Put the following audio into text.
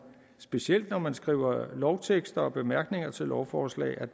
specielt når man skriver lovtekster og bemærkninger til lovforslag